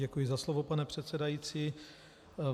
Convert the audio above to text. Děkuji za slovo, pane předsedající.